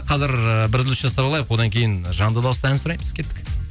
қазір ыыы бір үзіліс жасап алайық одан кейін жанды дауыста ән сұраймыз кеттік